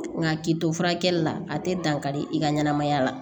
Nka k'i to furakɛli la a tɛ dankari i ka ɲɛnɛmaya la